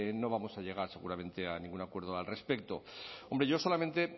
no vamos a llegar seguramente a ningún acuerdo al respecto hombre yo solamente